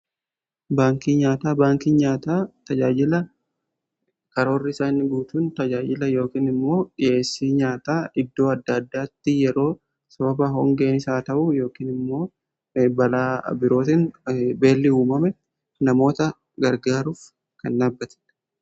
Baankii nyaataa tajaajila karoora isaani guutuun tajaajila yookiin immoo dhiheessii nyaataa iddoo adda addaatti yeroo sababa hongeenis yaa ta'u yookiin immoo balaa birootiin illee yoo uumame namoota gargaaruuf kan dhaabbateedha.